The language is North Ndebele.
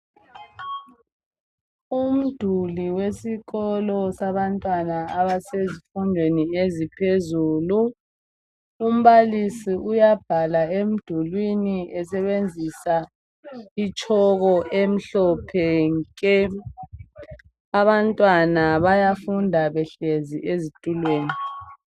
Umduli wesikolo sabantwana abasezifundweni eziphezulu. Umbalisi uyabhala emdulwini esebenzisa itshoko emhlophe nke! Abantwana bayafunda behlezi ezitulweni.